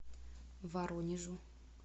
воронежу